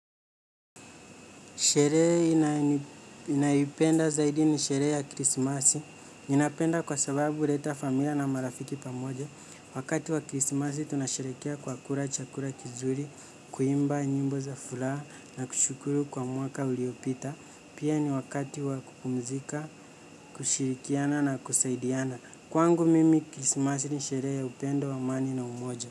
Sherehe naipenda zaidi ni sherehe ya krisimasi. Ninapenda kwa sababu huleta familia na marafiki pamoja. Wakati wa krisimasi tunasherehekea kwa kula chakula kizuri, kuimba nyimbo za furaha, na kushukuru kwa mwaka uliopita. Pia ni wakati wa kupumzika, kushirikiana na kusaidiana. Kwangu mimi krisimasi ni sherehe ya upendo amani na umoja.